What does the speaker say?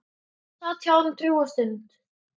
Sat hjá honum drjúga stund.